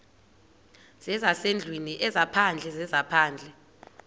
zezasendlwini ezaphandle zezaphandle